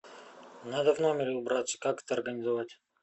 надо в номере убраться как это организовать